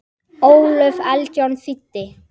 Ólöf Eldjárn þýddi.